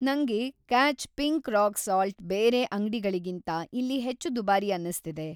ನಂಗೆ Catch pink rock salt ಬೇರೆ ಅಂಗ್ಡಿಗಳಿಗಿಂತ ಇಲ್ಲಿ ಹೆಚ್ಚು ದುಬಾರಿ ಅನ್ನಿಸ್ತಿದೆ.